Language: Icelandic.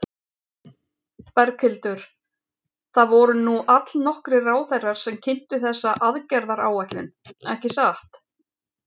Berghildur, það voru nú allnokkrir ráðherrar sem kynntu þessa aðgerðaráætlun, ekki satt?